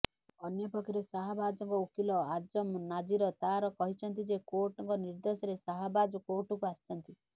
ଅନ୍ୟପକ୍ଷରେ ଶାହବାଜଙ୍କ ଓକିଲ ଆଜମ ନାଜିର ତାର କହିଛନ୍ତି ଯେ କୋର୍ଟଙ୍କ ନିର୍ଦ୍ଦେଶରେ ଶାହବାଜ କୋର୍ଟକୁ ଆସିଛନ୍ତି